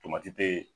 Tomati te